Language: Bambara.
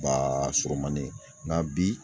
Baa surumannin ŋa bi